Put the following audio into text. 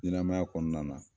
Ɲɛmaya kɔnɔna na